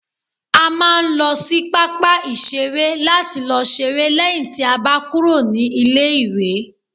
a ma n lo sí papa iṣere lati lo s'ere leyin ti a ba kúrò ní ilé iwe